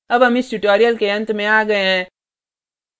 अब हम इस tutorial के अंत में आ गये हैं